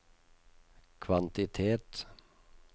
kvantitet